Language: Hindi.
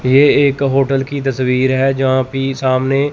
ये एक होटल की तस्वीर है जहां पे सामने--